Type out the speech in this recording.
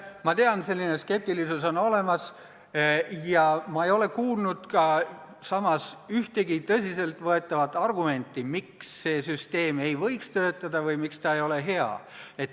Ma tean, et selline skeptilisus on olemas, samas ei ole ma kuulnud ühtegi tõsiselt võetavat argumenti, miks see süsteem ei võiks töötada või miks ta ei ole hea.